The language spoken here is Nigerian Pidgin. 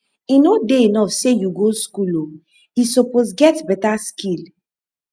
e no dey enough sey you go school o e suppose get beta skill